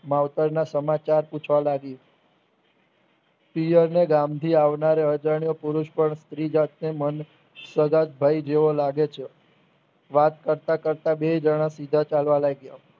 માવતરના સમાચાર પૂછવા લાગી પિયરને ગામથી આવનાર અજાણ્યો પુરુષ પણ સ્ત્રી જાતને મન સવગતભાઈ જેવો લાગે છે. વાત કરતા કરતા બેઉ જણા સીધા ચાલવા લાગ્યા